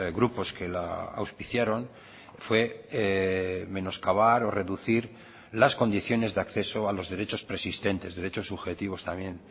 grupos que la auspiciaron fue menoscabar o reducir las condiciones de acceso a los derechos preexistentes derechos subjetivos también